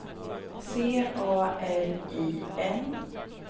C A R I N